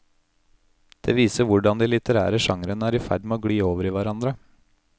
Det viser hvordan de litterære genrene er i ferd med å gli over i hverandre.